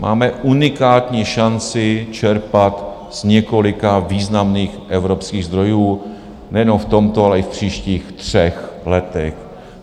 Máme unikátní šanci čerpat z několika významných evropských zdrojů nejenom v tomto, ale i v příštích třech letech.